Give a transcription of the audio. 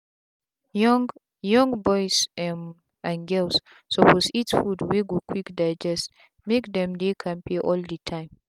young young boys um and girls suppose eat food wey go quick digest make them dey kampe all the time.